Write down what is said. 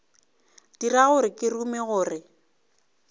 dira gore ke rume gore